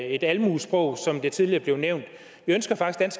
et almuesprog som det tidligere blev nævnt vi ønsker faktisk